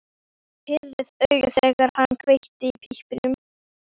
Hann pírði augun, þegar hann kveikti í pípunni.